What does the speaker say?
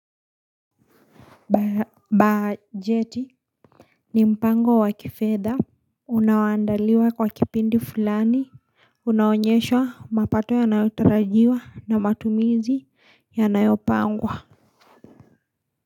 Bajeti ni mpango wa kifedha unaoandaliwa kwa kipindi fulani unaoonyesha mapato yanayotarajiwa na matumizi yanayopangwa.